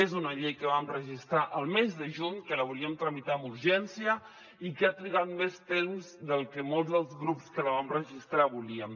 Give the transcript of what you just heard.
és una llei que vam registrar el mes de juny que la volíem tramitar amb urgència i que ha trigat més temps del que molts dels grups que la vam registrar volíem